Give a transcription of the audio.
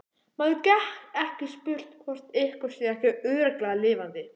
Maður getur ekki spurt hvort einhver sé ekki örugglega lifandi